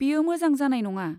बेयो मोजां जानाय नङा।